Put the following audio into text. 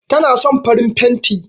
Tana son farin fenti